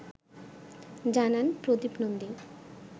জানান প্রদীপ নন্দী